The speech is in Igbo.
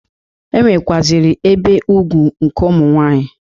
E nwekwaziri ibe ugwu nke ụmụ nwaanyị.